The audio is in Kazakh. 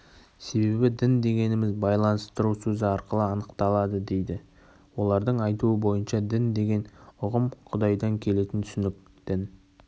себебі дін дегеніміз байланыстыру сөзі арқылы анықталады дейді олардың айтуы бойынша дін деген үғым құдайдан келетін түсінік дін